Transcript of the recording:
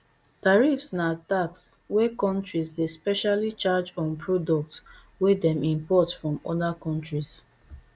tariffs na tax wey kontris dey specially charge on products wey dem import from oda kontris